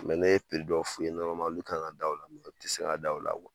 ne ye dɔ f'u ye olu kan ka da o. U ti se ka da o la